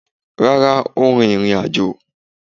Rara, o rín irin-ajò